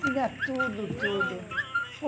Tinha tudo, tudo.